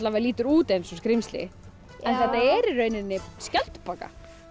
lítur út eins og skrímsli en þetta er í rauninni skjaldbaka